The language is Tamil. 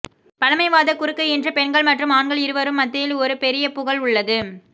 பழமைவாத குறுக்கு இன்று பெண்கள் மற்றும் ஆண்கள் இருவரும் மத்தியில் ஒரு பெரிய புகழ் உள்ளது